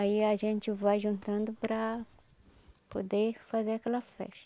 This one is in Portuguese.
Aí a gente vai juntando para poder fazer aquela festa.